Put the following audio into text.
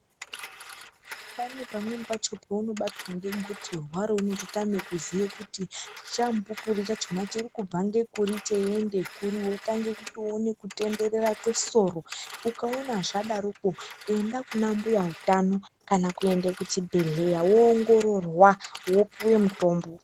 Pane pamweni pacho paunobatwa ngegotsorwa reunototame kuziye kuti chamupupuri chachona chiri kubva ngekuri cheiende kuri. Wotange kuone kutenderera kwesoro. Ukaona zvadaroko ,enda kuna mbuya utano kana kuende kuchibhedhleya, woongororwa ,wopuwa mutombo.